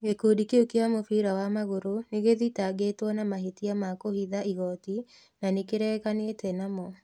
Gĩkundi kĩu kĩa mũbira wa magũrũ nĩ gĩthitangĩtwo na mahĩtia ma kũhitha igooti, na nĩ kĩreganĩte namo